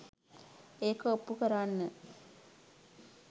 ඒක ඔප්පු කරන්න